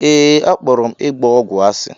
Ee, akpọrọ m ịgba ọgwụ asị.